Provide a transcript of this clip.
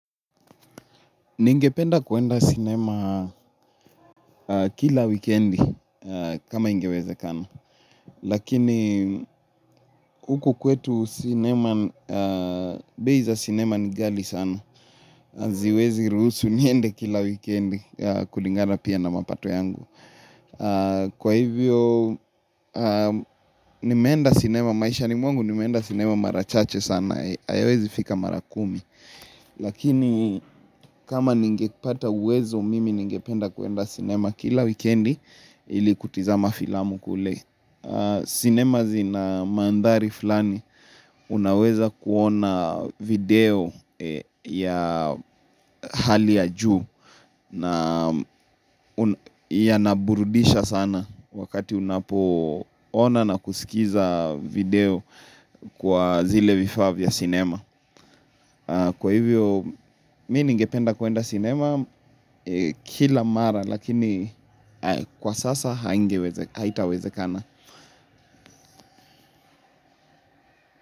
Ningependa kwenda sinema kila wikendi kama ingewezekana. Lakini huku kwetu sinema, bei za sinema ni ghali sana. Haziwezi ruhusu niende kila wikendi kulingana pia na mapato yangu. Kwa hivyo, nimeenda sinema, maishani mwangu nimeenda sinema mara chache sana. Haiwezi fika mara kumi. Lakini kama ningepata uwezo mimi ningependa kwenda sinema kila wikendi ili kutazama filamu kule. Sinema zina mandhari fulani unaweza kuona video ya hali ya juu yanaburudisha sana wakati unapoona na kusikiza video kwa zile vifaa vya sinema kwa hivyo, mimi ningependa kwenda sinema kila mara, lakini kwa sasa haitawezekana.